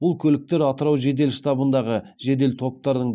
бұл көліктер атырау жедел штабындағы жедел топтардың